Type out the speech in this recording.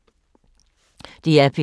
DR P3